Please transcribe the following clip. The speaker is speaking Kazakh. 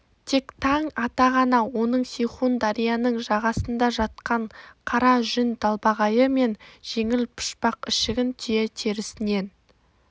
тек таң ата ғана оның сейхун дарияның жағасында жатқан қара жүн далбағайы мен жеңіл пұшпақ ішігін түйе терісінен